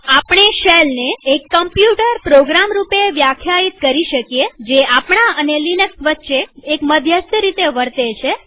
આપણે શેલને એક કમ્પ્યુટર પ્રોગ્રામ રૂપે વ્યાખ્યાયિત કરી શકીએ જે આપણા અને લિનક્સ વચ્ચે મધ્યસ્થ તરીકે વર્તે છે